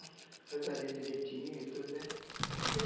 Casaram direitinho e tudo, né?